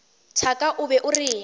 thaka o be o reng